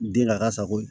Den n'a ka sago ye